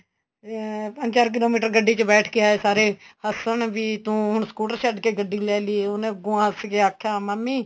ਅਹ ਪੰਜ ਚਾਰ kilometer ਗੱਡੀ ਚ ਬੈਠ ਕੇ ਆਏ ਸਾਰੇ ਹਸਣ ਵੀ ਤੂੰ scooter ਛੱਡ ਕੇ ਗੱਡੀ ਲੈ ਲਈ ਉਨੇ ਅੱਗੋ ਹੱਸ ਕੇ ਆਖਿਆ ਮਾਮੀ